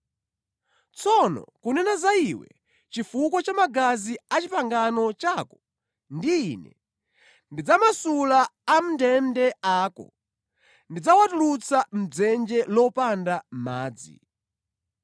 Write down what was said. Tsono kunena za iwe, chifukwa cha magazi a pangano lako ndi Ine, ndidzamasula amʼndende ako, ndidzawatulutsa mʼdzenje lopanda madzi.